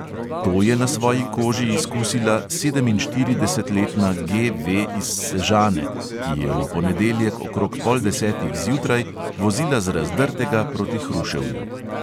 To je na svoji koži izkusila sedeminštiridesetletna G V iz sežane, ki je v ponedeljek okrog pol desetih zjutraj vozila z razdrtega proti hruševju.